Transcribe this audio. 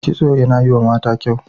Kitso yana yiwa mata kyau.